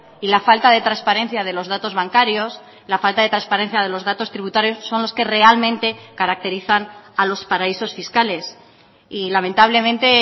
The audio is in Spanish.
y la falta de transparencia de los datos bancarios la falta de transparencia de los datos tributarios son los que realmente caracterizan a los paraísos fiscales y lamentablemente